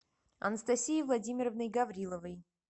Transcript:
анастасией владимировной гавриловой